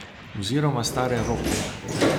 Oziroma stare rokerje.